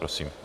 Prosím.